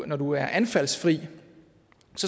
når du er anfaldsfri